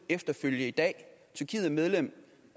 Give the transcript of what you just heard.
efterfølge i dag tyrkiet er medlem